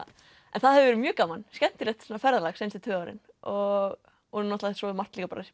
en það hefur verið mjög gaman skemmtilegt ferðalag seinustu tvö árin og og náttúrulega svo hefur margt